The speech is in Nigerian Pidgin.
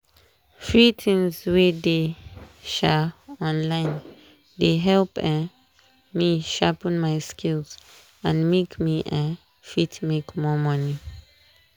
free things wey dey um online dey help um me sharpen my skills and make me um fit make more money.